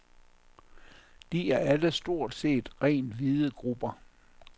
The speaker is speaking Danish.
De er alle stort set rent hvide grupper.